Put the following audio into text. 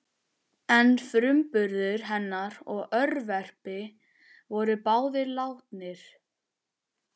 En frumburður hennar og örverpi voru báðir látnir.